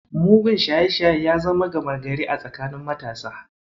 Mugun shaye-shaye ya zama gama gari a tsakanin matasa.